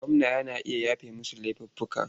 Gwamna yana iya yafewa masu laifuffuka.